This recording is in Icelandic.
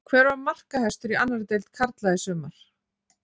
Hver var markahæstur í annarri deild karla í sumar?